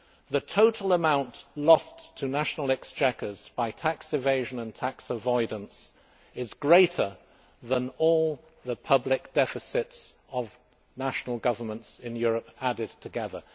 The total amount lost to national exchequers by tax evasion and tax avoidance is greater than all the public deficits of national governments in Europe added together.